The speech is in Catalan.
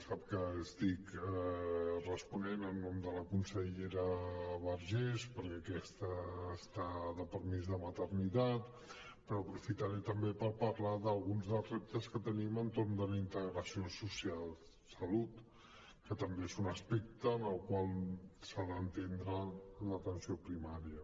sap que estic responent en nom de la consellera vergés perquè aquesta està de permís de maternitat però aprofitaré també per parlar d’alguns dels reptes que tenim entorn de la integració social de salut que també és un aspecte en el qual s’ha d’entendre l’atenció primària